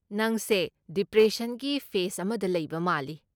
ꯅꯪꯁꯦ ꯗꯤꯄ꯭ꯔꯦꯁꯟꯒꯤ ꯐꯦꯁ ꯑꯃꯗ ꯂꯩꯕ ꯃꯥꯜꯂꯤ꯫